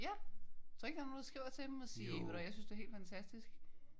Ja. Tror du ikke der er nogen der skriver til dem og sige ved du hvad jeg synes du er helt fantastisk